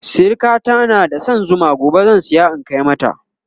sirikata na da San Zuma gobe zan saya in Kai mata